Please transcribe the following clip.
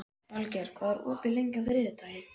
Valgeir, hvað er opið lengi á þriðjudaginn?